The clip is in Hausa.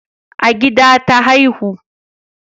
A gida ta haihu